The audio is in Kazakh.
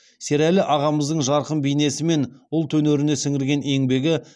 серәлі ағамыздың жарқын бейнесі мен ұлт өнеріне сіңірген еңбегі